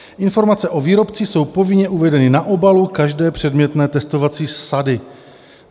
Informace o výrobci jsou povinně uvedeny na obalu každé předmětné testovací sady.